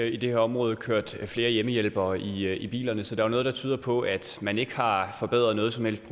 i det her område kørt flere hjemmehjælpere i bilerne så der er jo noget der tyder på at man ikke har forbedret noget som helst i